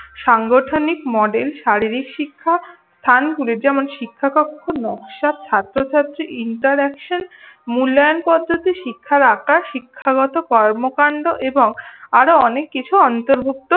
সাংগঠনিক মডেল শারীরিক শিক্ষা স্থানগুলি যেমন শিক্ষা কক্ষ নকশাত ছাত্রছাত্রী interaction মূল্যায়ন পদ্ধতি শিক্ষার আকার শিক্ষাগত কর্মকাণ্ড এবং আরও অনেককিছু অন্তর্ভুক্ত